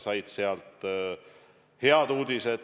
Nad said häid uudiseid.